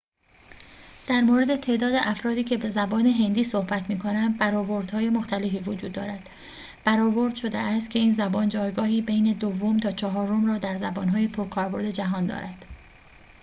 در مورد تعداد افرادی که به زبان هندی صحبت می‌کنند برآوردهای مختلفی وجود دارد برآورد شده است که این زبان جایگاهی بین دوم تا چهارم را در زبان‌های پرکاربرد جهان دارد